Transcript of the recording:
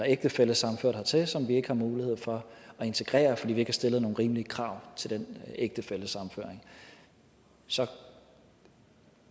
ægtefællesammenført hertil som vi ikke har mulighed for at integrere fordi vi ikke har stillet nogle rimelige krav til den ægtefællesammenføring så